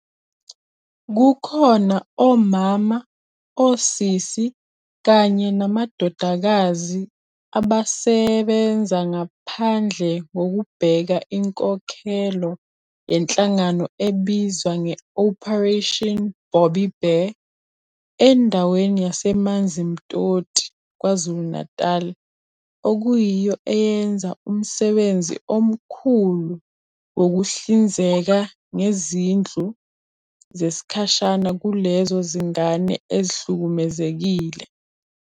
Kukhona omama, osisi kanye namadodakazi abasebenza ngaphandle kokubheka inkokhelo yenhlangano ebizwa nge-Operation Bobbi Bear endaweni yaseManzimtoti KwaZulu-Natal okuyiyo eyenza umsebenzi omkhulu wokuhlinzeka ngezindlu zesikhashana kulezo zingane ezihlukumezekile.